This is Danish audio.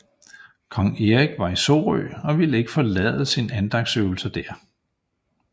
Kong Erik var i Sorø og ville ikke forlade sine andagtsøvelser der